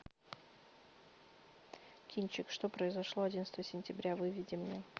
кинчик что произошло одиннадцатого сентября выведи мне